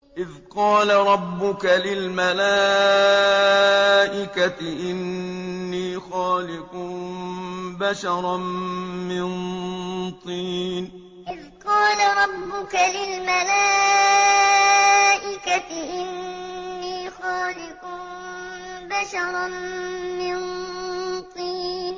إِذْ قَالَ رَبُّكَ لِلْمَلَائِكَةِ إِنِّي خَالِقٌ بَشَرًا مِّن طِينٍ إِذْ قَالَ رَبُّكَ لِلْمَلَائِكَةِ إِنِّي خَالِقٌ بَشَرًا مِّن طِينٍ